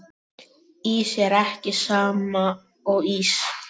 Ís er ekki sama og ís